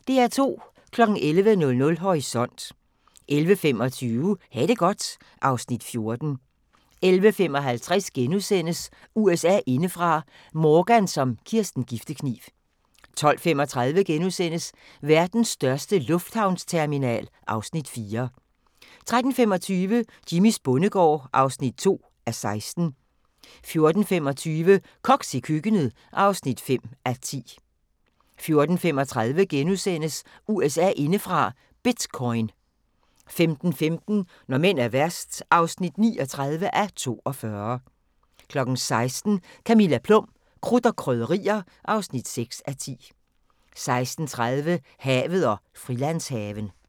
11:00: Horisont 11:25: Ha' det godt (Afs. 14) 11:55: USA indefra: Morgan som Kirsten Giftekniv * 12:35: Verdens største lufthavnsterminal (Afs. 4)* 13:25: Jimmys bondegård (2:16) 14:25: Koks i køkkenet (5:10) 14:35: USA indefra: Bitcoin * 15:15: Når mænd er værst (39:42) 16:00: Camilla Plum – Krudt og Krydderier (6:10) 16:30: Havet og Frilandshaven